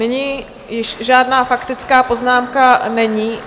Nyní již žádná faktická poznámka není.